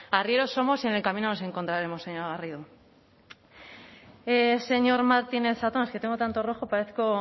arrieros somos y en el camino nos encontraremos señora garrido señor martínez zatón es que tengo tanto rojo parezco